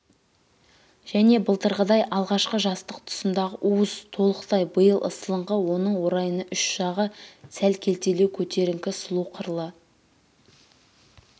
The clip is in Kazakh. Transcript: және былтырғыдай алғашқы жастық тұсындағы уыз толықтық биыл ысылыңқы оның орайына ұш жағы сәл келтелеу көтеріңкі сұлу қырлы